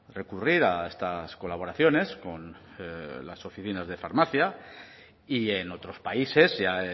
recurrir a estas colaboraciones con las oficinas de farmacia y en otros países ya